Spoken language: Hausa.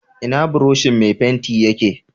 Ina buroshin mai fenti yake